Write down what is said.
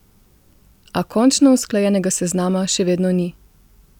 A končno usklajenega seznama še vedno ni!